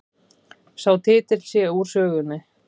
Sá titill sé úr sögunni